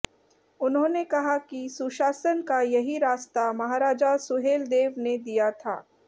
उन्होंने कहा कि सुशासन का यही रास्ता महाराजा सुहेलदेव ने दिया था